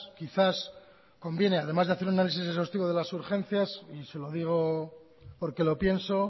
quizás conviene además de hacer un análisis exhaustivo de las urgencias y se lo digo porque lo pienso